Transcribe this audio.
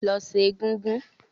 Lọ sẹ́ egúngún!